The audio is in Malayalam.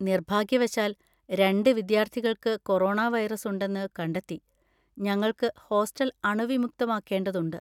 നിർഭാഗ്യവശാൽ, രണ്ട് വിദ്യാർത്ഥികൾക്ക് കൊറോണ വൈറസ് ഉണ്ടെന്ന് കണ്ടെത്തി, ഞങ്ങൾക്ക് ഹോസ്റ്റൽ അണുവിമുക്തമാക്കേണ്ടതുണ്ട്.